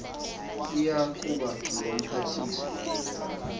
iya kuba ngumphathiswa